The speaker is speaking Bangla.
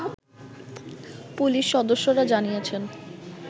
পুলিশ সদস্যরা জানিয়েছেন